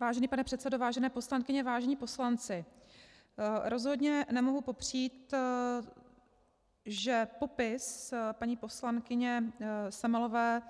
Vážený pane předsedo, vážené poslankyně, vážení poslanci, rozhodně nemohu popřít, že popis paní poslankyně Semelové